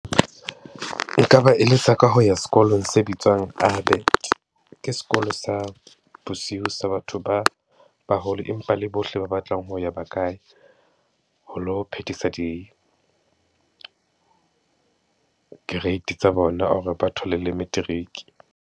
Nka ba eletsa ka ho ya sekolong se bitswang Abet. Ke sekolo sa bosiu sa batho ba baholo, empa le bohle ba batlang ho ya ba ka ya ho lo phethisa di-grade tsa bona hore ba thole le matric.